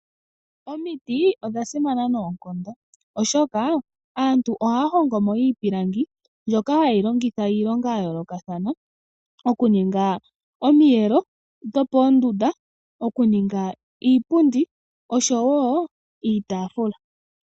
Omiti odha simana noonkondo, oshoka aantu ohaya hongo mo iipilangi mbyoka hayi longithaiilonga ya yoolokathana. Okuninga omiyelo dhopoondunda, okuninga iipundi oshowo iitafula.